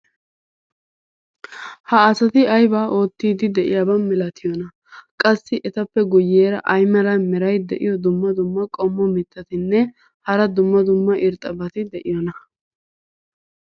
ha asati aybaa oottiidi de'iyaba malattiyoonaa? qassi etappe guyeera ay mala meray diyo dumma dumma qommo mitattinne hara dumma dumma irxxabati de'iyoonaa?